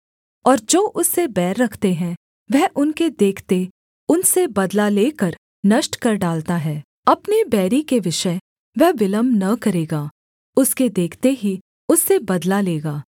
और जो उससे बैर रखते हैं वह उनके देखते उनसे बदला लेकर नष्ट कर डालता है अपने बैरी के विषय वह विलम्ब न करेगा उसके देखते ही उससे बदला लेगा